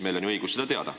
Meil on ju õigus seda teada.